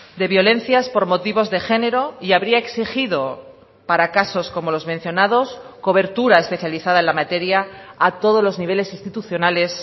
de violencias por motivos de género y habría exigido para casos como los mencionados cobertura especializada en la materia a todos los niveles institucionales